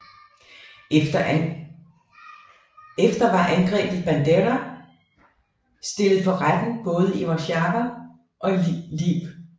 Efter var angrebet Bandera stillet for retten både i Warszawa og Lviv